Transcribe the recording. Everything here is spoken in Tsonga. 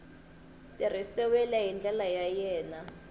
tirhisiwile hi ndlela yo enela